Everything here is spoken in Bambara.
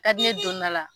Ka di ne donna la